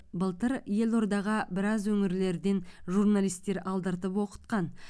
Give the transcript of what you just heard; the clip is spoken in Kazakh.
былтыр елордаға біраз өңірлерден журналистер алдыртып оқытқан